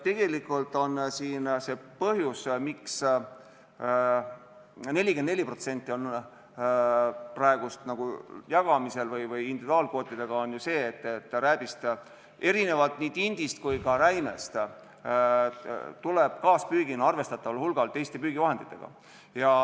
Tegelikult on põhjus, miks 44% on praegu jagamisel individuaalkvootidega, ju see, et rääbist erinevalt nii tindist kui ka räimest tuleb arvestataval hulgal kaaspüügil, kui püütakse teiste püügivahenditega.